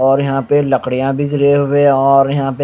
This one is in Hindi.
और यहां पे लकड़ियां भी जले हुए है और यहां पे--